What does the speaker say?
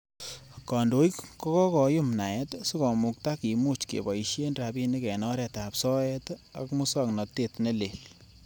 Kandoik ko kakoyum naet sikomukta kimuch keboishien rabinik en oretab soet ak musoknotet ne leel.